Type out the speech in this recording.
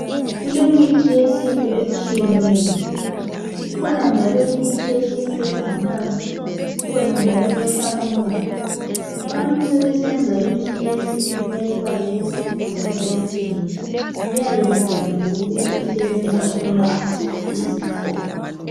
Kule mithi yesintu etshiyeneyo, ikhona njalo imithi yesintu engamanzi, kukhona njalo ehlafunwayo. Abantu sebesenza imithi yesintu beyifake esigubhini bayithengise. Kuyabe kubhaliwe ukuthi isebenza ukulapha iziphi izifo.